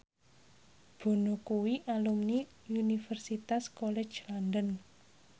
Bono kuwi alumni Universitas College London